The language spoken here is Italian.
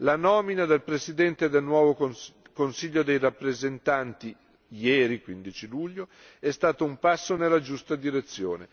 La nomina del presidente del nuovo Consiglio dei rappresentanti ieri 15 luglio è stato un passo nella giusta direzione.